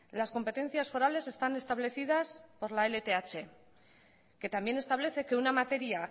las competencias forales están establecidas por la lth que también establece que una materia